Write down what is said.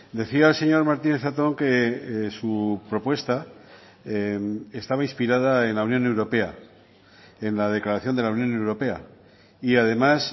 decía el señor martínez zatón que su propuesta estaba inspirada en la unión europea en la declaración de la unión europea y además